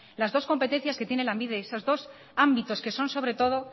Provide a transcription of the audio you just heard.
las dos competencias que tiene lanbide esos dos ámbitos que son sobre todo